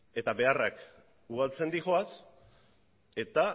eta beharrak ugaltzen doaz eta